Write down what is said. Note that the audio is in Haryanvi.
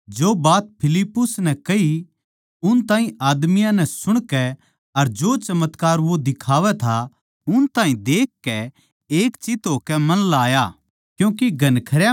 जो बात फिलिप्पुस नै कही उन ताहीं आदमियाँ नै सुणकै अर जो चमत्कार वो दिखावै था उन ताहीं देख देखकै एक चित्त होकै मन ल्याया